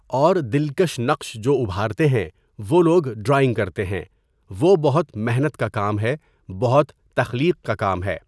اور دِلکش نقش جو اُبھارتے ہیں وہ لوگ ڈرائنگ کرتے ہیں۔ وہ بہت محنت کا کام ہے۔ بہت تخلیق کا کام ہے.